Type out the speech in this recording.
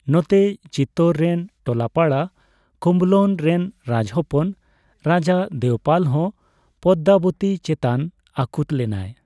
ᱱᱚᱛᱮ, ᱪᱤᱛᱳᱨ ᱨᱮᱱ ᱴᱚᱞᱟᱯᱟᱲᱟ ᱠᱩᱢᱵᱷᱞᱚᱱ ᱨᱮᱱ ᱨᱟᱡᱽᱦᱚᱯᱚᱱ ᱨᱟᱡᱟ ᱫᱮᱵᱽᱯᱟᱞᱦᱚᱸ ᱯᱚᱫᱽᱫᱟᱵᱚᱛᱤ ᱪᱮᱛᱟᱱ ᱟᱹᱠᱩᱛ ᱞᱮᱱᱟᱭ ᱾